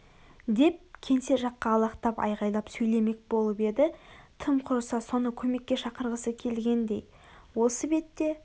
деп кеңсе жаққа алақтап айғайлап сөйлемек болып еді тым құрыса соны көмекке шақырғысы келгендей осы бетте